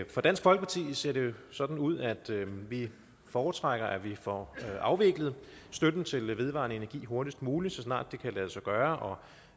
for dansk folkeparti ser det jo sådan ud at vi foretrækker at vi får afviklet støtten til vedvarende energi hurtigst muligt altså så snart det kan lade sig gøre